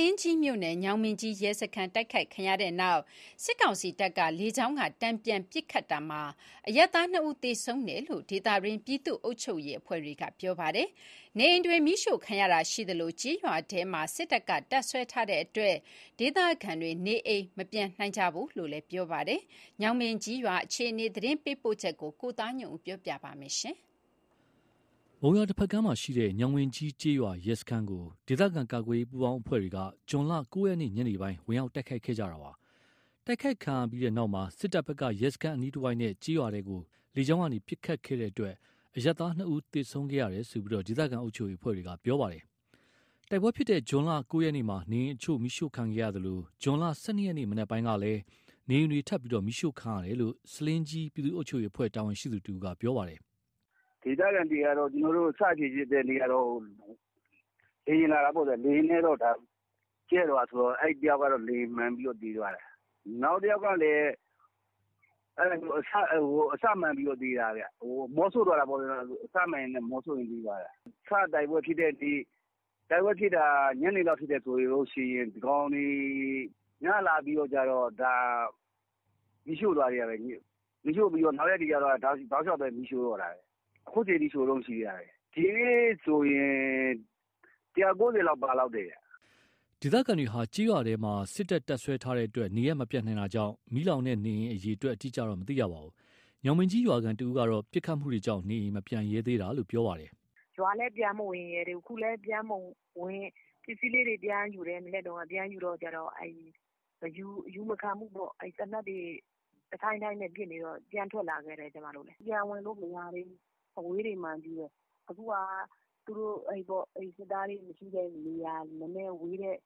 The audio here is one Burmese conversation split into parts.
လင်းကြီးမြို့နယ်၊ ညောင်ပင်ကြီးရဲစခန်းတိုက်ခိုက်ခံရတဲ့နောက် စစ်ကောင်စီတပ်က လေကြောင်းက တန်ပြန်ပစ်ခတ်ရာမှာ အရပ်သားနှစ်ဦးသေဆုံးတယ်လို့ ဒေသတွင်းပြည်သူ့အုပ်ချုပ်ရေး အဖွဲ့တွေက ပြောပါတယ်။ နေအိမ်တွေမီးရှို့ခံရတာရှိသလို ကျေးရွာထဲ စစ်တပ်က တပ်စွဲထားတဲ့အတွက် ဒေသခံတွေ နေအိမ်မပြန်နိုင်ကြဘူးလို့လည်းသိရပါတယ်။ ညောင်ပင်ကြီးကျေးရွာအခြေအနေ သတင်းပေးပို့ချက်ကို ကိုသားညွန့်ဦး ပြောပြပါမယ်။ မုံရွာတဖက်ကမ်းမှာရှိတဲ့ ညောင်ပင်ကြီးကျေးရွာရဲစခန်းကို ဒေသခံကာကွယ်ရေး ပူးပေါင်းအဖွဲ့တွေက ဇွန်လ ၉ ရက် ညနေပိုင်းမှာ ဝင်ရောက်တိုက်ခိုက်ခဲ့တာပါ။ တိုက်ခိုက်ခံရပြီးနောက်မှာ စစ်တပ်ဘက်က ရဲစခန်း အနီးတဝိုက်နဲ့ ကျေးရွာထဲကို လေကြောင်းကနေ ပစ်ခတ်ခဲ့တဲ့အတွက် အရပ်သား ၂ ဦး သေဆုံးခဲ့ရတယ်လို့ ဒေသခံအုပ်ချုပ်ရေးအဖွဲ့တွေကပြောပါတယ်။ တိုက်ပွဲဖြစ်တဲ့ ဇွန် ၉ ရက်မှာ နေအိမ်အချို့မီးရှို့ခံခဲ့ရသလို ဇွန် ၁၂ ရက် မနက်ပိုင်းကလည်း နေအိမ်တွေ ထပ်ပြီး မီးရှို့ခံရတာရှိတယ်လို့ ဆားလင်းကြီး ပြည်သူ့အုပ်ချုပ်ရေးအဖွဲ့ တာဝန်ရှိသူတဦးက ပြောပါတယ်။ “ဒေသခံတွေက စဖြစ်ဖြစ်တဲ့နေ့က လေယာဉ်လာတာပေါ့ဗျာ။ လေယာဉ်လာပြီး ကြဲသွားတာဆိုတော့ တယောက်ကတော့ လေယာဉ် မှန်ပြီး သေသွားတယ်။ နောက်တယောက်ကလည် အစမှန်ပြီး သေတာ အမောဆို့သွားတာပေါ့။ အစမှန်ရင်း အမောဆို့ပြီး သေသွားတာ။ စတိုက်ပွဲဖြစ်တဲ့နေ့ တိုက်ပွဲဖြစ်တာ ညနေလောက် ဖြစ်တယ်ဆိုရင် ဒီကောင်တွေ ညလာပြီးတော့ မီးရှို့သွားသေးတာပဲ။ နောက်ရက်တွေကြတော့ တောက်လျှောက်ပဲမီးရှို့တော့တာ။ အခုချိန်ထိရှို့တုန်းရှိသေးတာ။ ဒီနေ့ထိဆိုရင် ၁၀၀/၉၀ လောက် ပါလောက်တယ်။” ဒေသခံတွေဟာ ကျေးရွာထဲမှာ စစ်တပ်တပ်စွဲထားတဲ့အတွက် နေရပ်မပြန်နိုင်တာကြောင့်၊ မီးလောင်တဲ့ နေအိမ်အရေအတွက်အတိအကျတော့ မသိရပါဘူး။ ညောင်ပင်ကြီးရွာခံတဦးကတော့ ပစ်ခတ်မှုတွေကြောင့် နေအိမ်မပြန်ရဲသေးတာလို့ ပြောပါတယ်။ “ရွာလည်း ပြန်မဝင်ရဲသေးဘူး အခုလည်း ပစ္စည်းလေးတွေ ပြန်ယူတယ် ပြန်ယူတော့ အယူမခံဘူးပေါ့။ သေနတ်တွေ တဒိုင်းဒိုင်းနဲ့ပစ်နေတော့ ပြန်ထွက်လာခဲ့တယ်။ ကျွန်မတို့လည်း ပြန်ဝင်လို့မရသေးဘူး။ အဝေးတွေမှာပဲ။ အခုဟာ သူတို့စစ်သားတွေမရှိတဲ့နေရာ နည်းနည်းဝေးတဲ့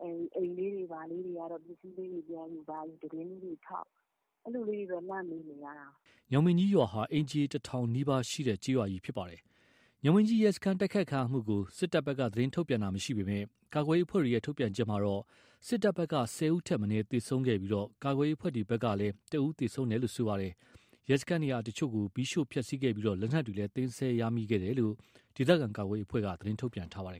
နေရာ အိမ်လေးဘာလေးတွေက ပစ္စည်းလေးဘာလေးပြန်ယူ သတင်းလေးတွေထောက် အဲ့လိုလေးတွေတော့ လှမ်းမေးနေရတယ်” ညောင်ပင်ကြီးရွာဟာ အိမ်ခြေ တထောင်နီးပါးရှိတာပါ။ ညောင်ပင်ကြီး ရဲစခန်း တိုက်ခိုက်ခံရမှုကို စစ်တပ်ဘက်က သတင်းထုတ်ပြန်ထားတာ မရှိပေမယ့် ကာကွယ်ရေး အဖွဲ့တွေထုတ်ပြန်ချက်မှာတော့ စစ်တပ်ဘက်က ၁၀ ဦးထက်မနည်းသေဆုံးခဲ့ပြီး ကာကွယ်ရေး အဖွဲ့တွေဘက်ကလည်း ၁ ဦးသေဆုံးခဲ့တယ်လို့ဆိုပါတယ်။ ရဲစခန်း နေရာအချို့ကို မီးရှို့ဖျက်ဆီးခဲ့ပြီး လက်နက်တွေလည်း သိမ်းဆည်းရမိခဲ့တယ်လို့ ဒေသခံကာကွယ်ရေးအဖွဲ့က သတင်းထုတ်ပြန်ထားပါတယ်